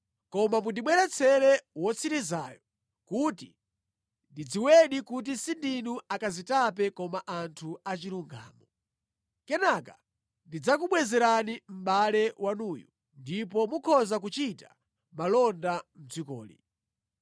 Koma mundibweretsere wotsirizayo kuti ndidziwedi kuti sindinu akazitape koma anthu achilungamo. Kenaka ndidzakubwezerani mʼbale wanuyu ndipo mukhoza kuchita malonda mʼdzikoli.”